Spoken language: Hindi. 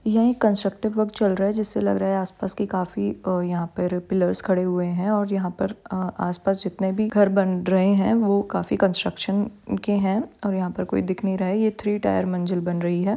यह एक कन्स्ट्रक्टिव वर्क चल रहा है जिससे लग रहा है आसपास की काफी अ यहाँ पर पिलर्स खड़े हुए हैं और यहाँ पर अ आसपास जितने भी घर बन रहे हैं वो काफी कंस्ट्रक्शन के हैं और यहाँ पर कोई दिख नहीं रहा है। ये थ्री टायर मंजिल बन रही है।